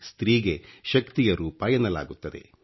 ಸ್ತ್ರೀ ಗೆ ಶಕ್ತಿಯ ರೂಪ ಎನ್ನಲಾಗುತ್ತದೆ